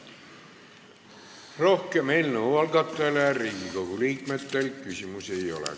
Rohkem eelnõu algatajale Riigikogu liikmetel küsimusi ei ole.